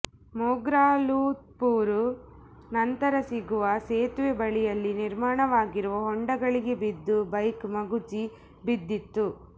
ಮೊಗ್ರಾಲ್ಪುತ್ತೂರು ನಂತರ ಸಿಗುವ ಸೇತುವೆ ಬಳಿಯಲ್ಲಿ ನಿರ್ಮಾಣವಾಗಿರುವ ಹೊಂಡಗಳಿಗೆ ಬಿದ್ದು ಬೈಕ್ ಮಗುಚಿ ಬಿದ್ದಿತ್ತು